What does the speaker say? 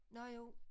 Nårh jo